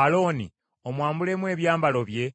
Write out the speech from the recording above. Alooni omwambulemu ebyambalo bye,